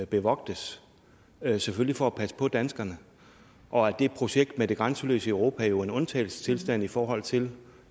bevogtes selvfølgelig for at passe på danskerne og at det projekt med det grænseløse europa jo er en undtagelsestilstand i forhold til